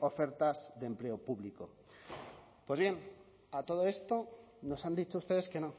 ofertas de empleo público pues bien a todo esto nos han dicho ustedes que no